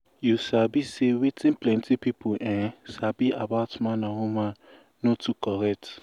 you sabi say wetin plenty people ehnn sabi about man and woman no too correct